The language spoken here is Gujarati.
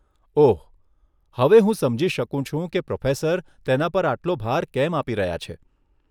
ઓહ, હવે હું સમજી શકું છું કે પ્રોફેસર તેના પર આટલો ભાર કેમ આપી રહ્યા છે.